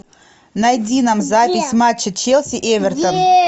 найди нам запись матча челси эвертон